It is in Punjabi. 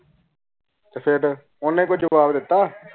ਤੇ ਫਿਰ ਓਨਾ ਕੋਈ ਜਵਾਬ ਦਿੱਤੋ